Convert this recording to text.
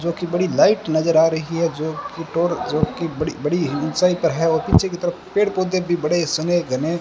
जो कि बड़ी लाइट नजर आ रही है जो कि टोर जो कि बड़ी-बड़ी ऊंचाई पर है और पीछे की तरफ पेड़ पौधे भी बड़े सने घने --